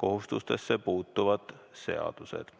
kohustustesse puutuvad seadused.